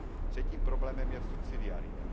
Třetím problémem je subsidiarita.